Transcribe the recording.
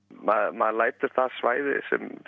maður lætur það svæði